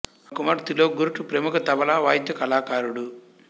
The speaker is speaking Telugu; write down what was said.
ఆమె కుమారుడు త్రిలోక్ గుర్టు ప్రముఖ తబలా వాద్య కళాకారుడు